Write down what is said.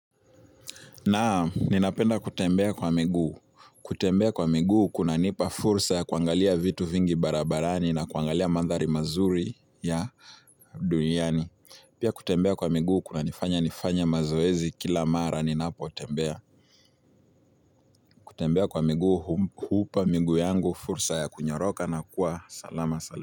Naam, ninapenda kutembea kwa miguu. Kutembea kwa miguu kunanipa fursa ya kuangalia vitu vingi barabarani na kuangalia mandhari mazuri ya duniani. Pia kutembea kwa miguu kunanifanya nifanye mazoezi kila mara ninapotembea. Kutembea kwa miguu hupa miguu yangu fursa ya kunyoroka na kuwa salama salama.